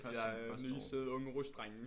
Der er nye søde unge rus drenge